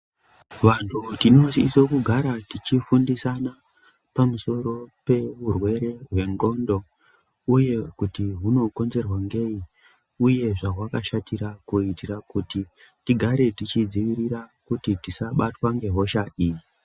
Vanhu tinosisa kugara tichifundisana pamusoro pehurwere hwendxondo uye kuti hunokonzerwa neyi uye zvawakashatira kuitira kuti tigare tichidzivirira kuti tisabatwa nehosha iyi.